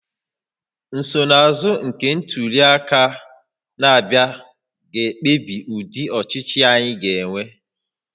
Nsonaazụ nke ntuli aka na-abịa ga-ekpebi ụdị ọchịchị anyị ga-enwe